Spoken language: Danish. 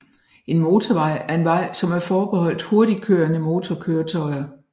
En motorvej er en vej som er forbeholdt hurtigtkørende motorkøretøjer